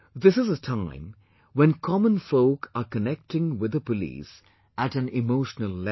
This is a time when common folk are connecting with the police at an emotional level